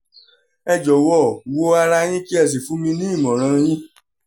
ẹ jọ̀wọ́ wo ara yín kí ẹ sì fún mi ní ìmọ̀ràn yín